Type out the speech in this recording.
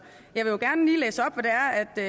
jeg